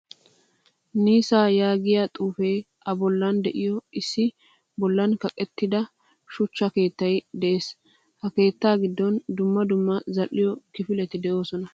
Nissan yaagiyaa xuufe a bollan de'iyo issi bollan kaqqettidaa shuchcha keettay de'ees. Ha keettaa giddon dumma dumma zal'iyoo kififletti deosona.